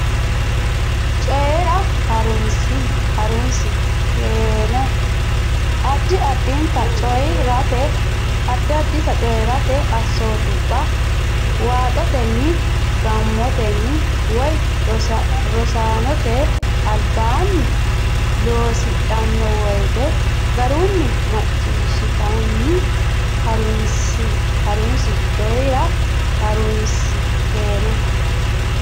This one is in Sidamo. Coyi ra Ha runsi keeno addi addita coyi rate assootubba waaxotenni gaamotenni woy rosaanote albaanni loosidhanno woyte garunni macciishshitanni ha runsi Coyi ra Ha runsi keeno.